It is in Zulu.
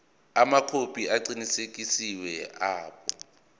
amakhophi aqinisekisiwe abo